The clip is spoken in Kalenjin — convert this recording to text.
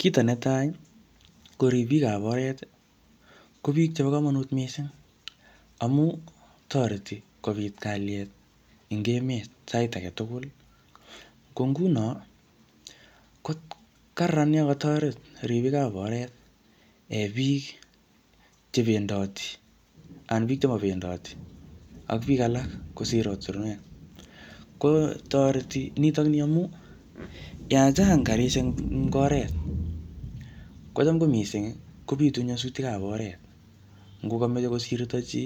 Kito netai, ko ribikab oret, ko biik chebo komonut missing, amu, toreti kobit kalyet eng emet sait age tugul. Ko nguno, ko kararan yokotoret ribikab oret um biik che bendoti, anan biik chemo bendoti ak biik alak kosir ortunwek. Ko toreti nitokni amuu, yachang karishek eng oret, kocham ko missing, kobitu nyasutikab oret. Ngo kameche kosirto chi,